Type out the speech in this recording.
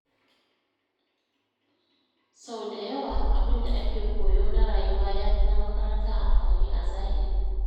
Sau da yawa, abin da ake koyo na rayuwa ya fi na makaranta amfani a zahiri.